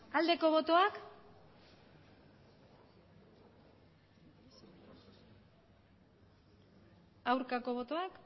aldeko botoak aurkako botoak